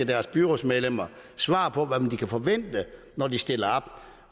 deres byrådsmedlemmer svar på hvad man kan forvente når de stiller op